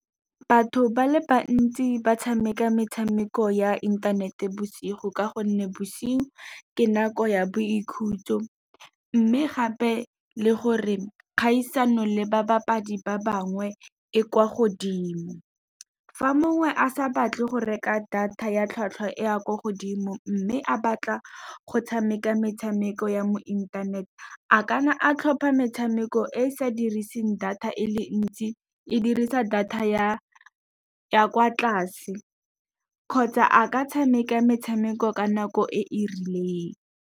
Batho ba le bantsi ba tshameka metshameko ya inthanete bosigo, ka gonne bosigo ke nako ya boikhutso. Mme gape le gore kgaisano le ba bapadi ba bangwe e kwa godimo, fa mongwe a sa batle go reka data ya tlhwatlhwa e a kwa godimo, mme a batla go tshameka metshameko ya mo inthanete, a ka nna a tlhopha metshameko e sa diriseng data e le ntsi, e dirisa data ya kwa tlase. Kgotsa a ka tshameka metshameko ka nako e e rileng.